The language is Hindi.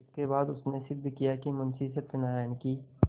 इसके बाद उसने सिद्ध किया कि मुंशी सत्यनारायण की